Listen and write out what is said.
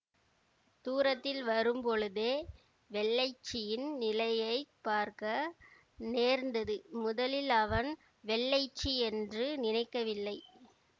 தூரத்தில் வரும்பொழுதே வெள்ளைச்சியின் நிலையை பார்க்க நேர்ந்தது முதலில் அவன் வெள்ளைச்சி என்று நினைக்கவில்லை